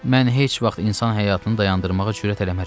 Mən heç vaxt insan həyatını dayandırmağa cürət eləmərəm.